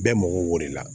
Bɛɛ mago b'o de la